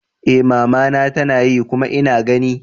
Eh mama na tanayi kuma ina gani.